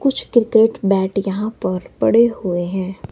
कुछ cricket bat यहां पर पड़े हुए हैं।